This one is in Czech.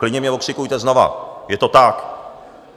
Klidně mě okřikujte znovu, je to tak.